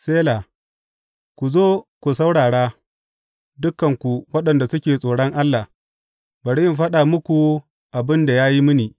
Sela Ku zo ku saurara, dukanku waɗanda suke tsoron Allah; bari in faɗa muku abin da ya yi mini.